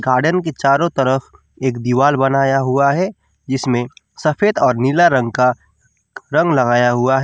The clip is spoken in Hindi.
गार्डन के चारों तरफ एक दीवार बनाया हुआ है जिसमें सफेद और नीला रंग का रंग लगाया हुआ है।